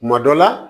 Kuma dɔ la